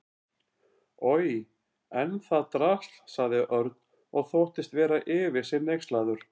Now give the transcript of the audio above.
Oj, en það drasl sagði Örn og þóttist vera yfir sig hneykslaður.